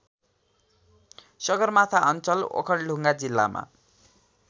सगरमाथा अञ्चल ओखलढुङ्गा जिल्लामा